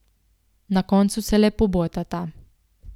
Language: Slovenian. Na koncu se le pobotata.